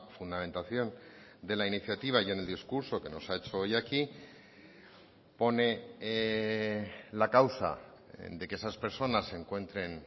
fundamentación de la iniciativa y en el discurso que nos ha hecho hoy aquí pone la causa de que esas personas se encuentren